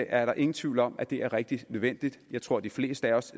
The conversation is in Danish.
er ingen tvivl om at det er rigtig nødvendigt jeg tror de fleste af os